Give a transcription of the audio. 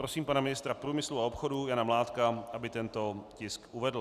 Prosím pana ministra průmyslu a obchodu Jana Mládka, aby tento tisk uvedl.